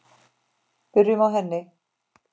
Byrjum á henni.